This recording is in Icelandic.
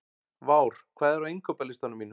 Vár, hvað er á innkaupalistanum mínum?